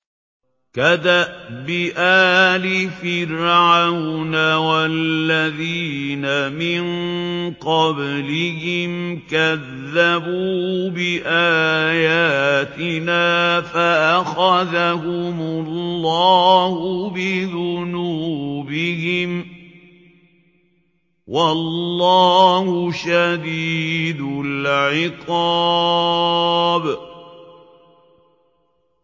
كَدَأْبِ آلِ فِرْعَوْنَ وَالَّذِينَ مِن قَبْلِهِمْ ۚ كَذَّبُوا بِآيَاتِنَا فَأَخَذَهُمُ اللَّهُ بِذُنُوبِهِمْ ۗ وَاللَّهُ شَدِيدُ الْعِقَابِ